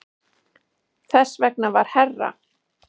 Þess vegna var herra